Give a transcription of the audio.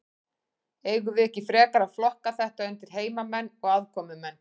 Eigum við ekki frekar að flokka þetta undir heimamenn og aðkomumenn?